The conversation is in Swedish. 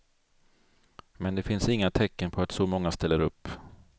Men det finns inga tecken på att så många ställer upp.